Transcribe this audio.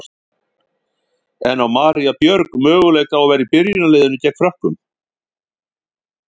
En á María Björg möguleika á að vera í byrjunarliðinu gegn Frökkum?